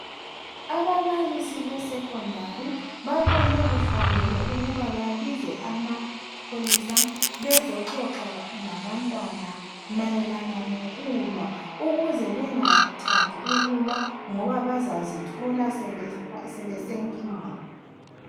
Ababalisi beSekhondari babone kufanele ukuba babize amapholisa bezoxoxa ngabantwana mayelana ngokulwa ukuze bengathandi ukulwa ngoba bazazithola sebesenkingeni.